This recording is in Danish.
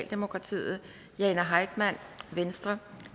mortensen jane heitmann